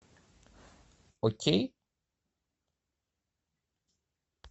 окей